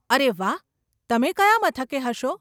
અરે વાહ, તમે કયા મથકે હશો?